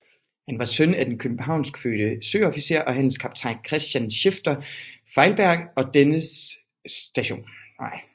Han var søn af den københavnskfødte søofficer og handelskaptajn Christen Schifter Feilberg og dennes St